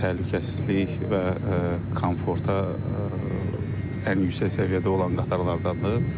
Təhlükəsizlik və komforta ən yüksək səviyyədə olan qatarlardandır.